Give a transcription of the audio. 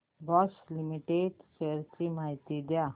Bosch limited shares ची माहिती द्या